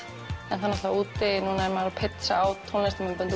en úti er maður að pitcha á tónlistarmyndbönd